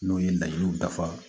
N'o ye layiriw dafa